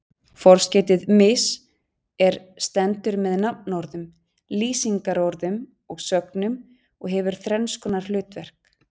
Forskeytið mis- er stendur með nafnorðum, lýsingarorðum og sögnum og hefur þrenns konar hlutverk.